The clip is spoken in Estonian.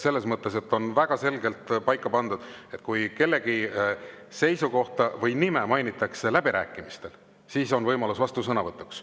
Selles mõttes on väga selgelt paika pandud, et kui kellegi seisukohta või nime mainitakse läbirääkimistel, siis on võimalus vastusõnavõtuks.